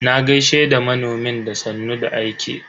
Na gaishe da manomin da sannun da aiki.